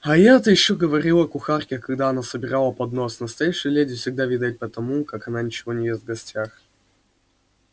а я-то ещё говорила кухарке когда она собирала поднос настоящую леди всегда видать по тому как она ничего не ест в гостях